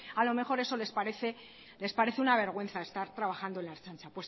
a lo mejor eso les parece una vergüenza estar trabajando en la ertzaintza